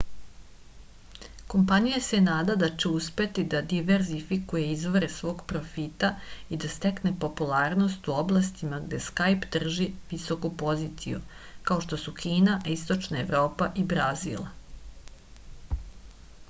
kompanija se nada da će uspeti da diverzifikuje izvore svog profita i da stekne popularnost u oblastima gde skajp drži visoku poziciju kao što su kina istočna evropa i brazil